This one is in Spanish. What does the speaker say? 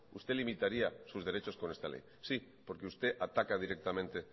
usted limitaría sus derechos con esta ley sí porque usted ataca directamente